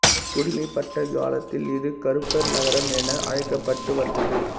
குடிமைப்பட்ட காலத்தில் இது கறுப்பர் நகரம் என அழைக்கப்பட்டு வந்தது